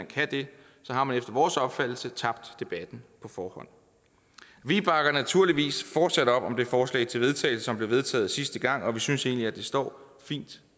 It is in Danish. kan det har man efter vores opfattelse tabt debatten på forhånd vi bakker naturligvis fortsat op om det forslag til vedtagelse som blev vedtaget sidste gang og vi synes egentlig at det står fint